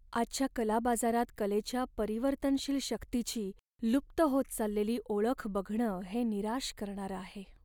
आजच्या कला बाजारात कलेच्या परिवर्तनशील शक्तीची लुप्त होत चाललेली ओळख बघणं हे निराश करणारं आहे.